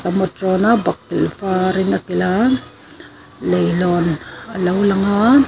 tawna bakilh varin a kilh a leilawn alo lang a.